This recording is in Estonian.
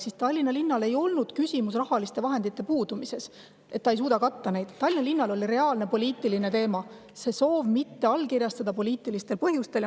Seega Tallinna linna puhul ei olnud küsimus mitte rahaliste vahendite puudumises, mitte selles, et ta ei suuda seda katta, vaid see oli poliitiline teema, ei allkirjastatud poliitilistel põhjustel.